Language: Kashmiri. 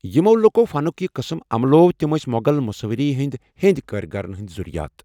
یِمو لُکو فَنٗك یہِ قٕسم عملوو تِم ٲس مُغل مُصَوِری ہِنٛدِ ہیٚنٛدِ کٲرِگَرن ہِنٛدِ زٗرِیات ۔